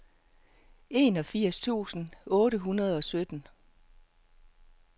enogfirs tusind otte hundrede og sytten